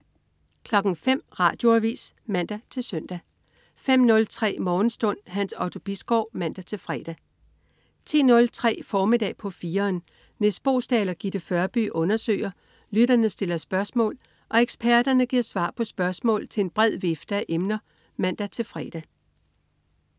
05.00 Radioavis (man-søn) 05.03 Morgenstund. Hans Otto Bisgaard (man-fre) 10.03 Formiddag på 4'eren. Nis Boesdal og Gitte Førby undersøger, lytterne stiller spørgsmål og eksperterne giver svar på spørgsmål til en bred vifte af emner (man-fre)